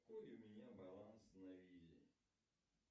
какой у меня баланс на визе